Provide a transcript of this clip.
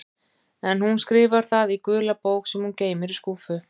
En hún skrifar það í gula bók sem hún geymir í skúffu.